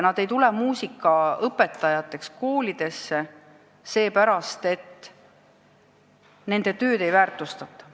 Nad ei tule muusikaõpetajateks koolidesse seepärast, et nende tööd ei väärtustata.